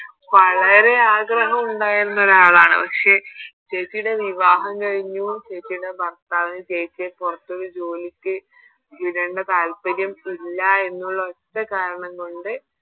വളരെ ആഗ്രഹം ഉണ്ടായിരുന്ന ഒരാളാണ് പക്ഷെ ചേച്ചിയുടെ വിവാഹം കഴിഞ്ഞു ചേച്ചിയുടെ ഭർത്താവിന് ചേച്ചിയെ പുറത്തൊരു ജോലിക്ക് വിടണ്ട താൽപ്പര്യം ഇല്ല എന്നുള്ളൊരു ഒറ്റ കാരണം കൊണ്ട്